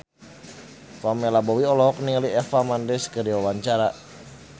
Pamela Bowie olohok ningali Eva Mendes keur diwawancara